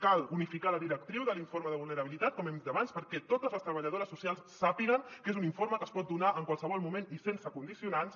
cal unificar la directriu de l’informe de vulnerabilitat com hem dit abans perquè totes les treballadores socials sàpiguen que és un informe que es pot donar en qualsevol moment i sense condicionants